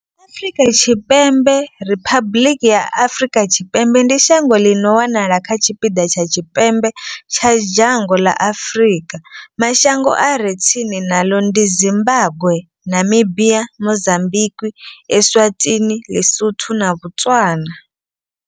Afrika Tshipembe Riphabuḽiki ya Afrika Tshipembe ndi shango ḽi no wanala kha tshipiḓa tsha tshipembe tsha dzhango ḽa Afurika. Mashango a re tsini naḽo ndi Zimbagwe, Namibia, Mozambikwi, Eswatini, Ḽisotho na Botswana.